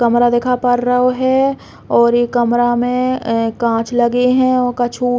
कमरा दिखा पड़ रहो है और इ कमरा में ए काँच लगे है और कछु --